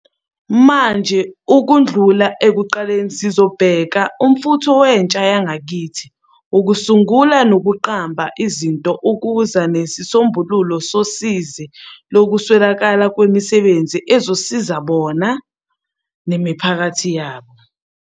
Manje ukudlula ekuqaleni sizobheka umfutho wentshayakithi wokusungula nokuqamba izinto ukuza nezisombululo zosizi lokuswelakala kwemisebenzi ezizosiza bona, nemiphakathi yabo.